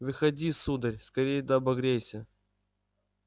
выходи сударь скорее да обогрейся